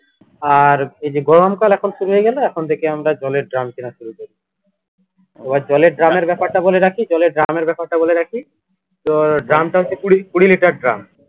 আর এই যে গরমকাল এখন শুরু হয়ে গেলো এখন থেকে আমরা জলের drum কিনা শুরু করবো এবার জলের drum এর ব্যাপারটা বলে রাখি জলের drum এর ব্যাপারটা বলে রাখি তোর drum টা হচ্ছে কুড়ি litre drum